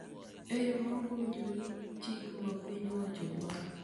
e yo ma ok owinjore gi chik ma piny owacho dwaro.